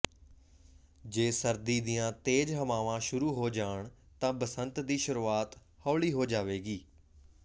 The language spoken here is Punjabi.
ਜੇ ਸਰਦੀ ਦੀਆਂ ਤੇਜ਼ ਹਵਾਵਾਂ ਸ਼ੁਰੂ ਹੋ ਜਾਣ ਤਾਂ ਬਸੰਤ ਦੀ ਸ਼ੁਰੂਆਤ ਹੌਲੀ ਹੋ ਜਾਵੇਗੀ